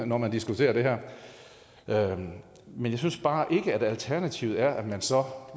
når man diskuterer det her men jeg synes bare ikke at alternativet er at man så